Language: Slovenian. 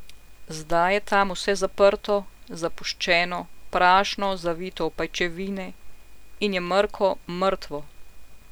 Zdaj je tam vse zaprto, zapuščeno, prašno, zavito v pajčevine, in je mrko, mrtvo.